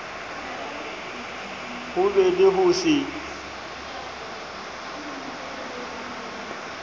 ho be le ho se